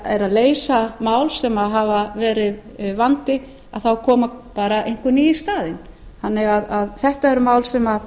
að leysa mál sem hafa verið vandi þá koma bara einhver ný í staðinn þannig að þetta er mál sem